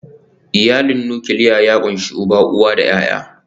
Iyalin nukiliya ya ƙunshi uba, uwa da ’ya’ya.